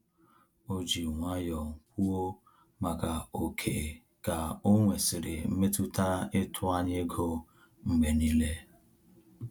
O ji nwayọ kwuo maka ókè ka onwesiri mmetụta ịtụ anya ego mgbe niile